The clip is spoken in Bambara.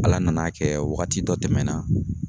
Ala nana kɛ wagati dɔ tɛmɛnɛna